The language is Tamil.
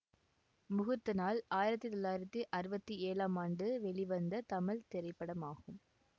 முகூர்த்த நாள் ஆயிரத்தி தொள்ளாயிரத்தி அறுபத்தி ஏழாம் ஆண்டு வெளிவந்த தமிழ் திரைப்படமாகும்